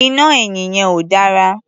Iná ẹ̀yìn yẹn ò dára.